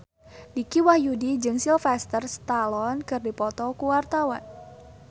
Dicky Wahyudi jeung Sylvester Stallone keur dipoto ku wartawan